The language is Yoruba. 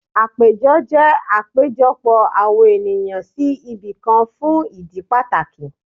Àpéjọ jẹ́ àpéjọpọ̀ àwọn ènìyàn sí ibìkan fún ìdí pàtàkì